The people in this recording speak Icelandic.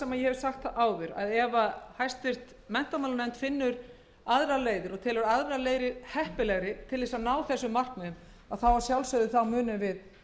það sem ég hef sagt áður að ef háttvirtur menntamálanefnd finnur aðrar leiðir og telur þær heppilegri til að ná þessum markmiðum munum við að